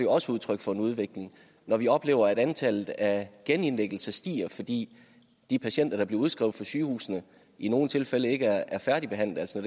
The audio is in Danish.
også udtryk for en udvikling når vi oplever at antallet af genindlæggelser stiger fordi de patienter der bliver udskrevet fra sygehusene i nogle tilfælde ikke er færdigbehandlet altså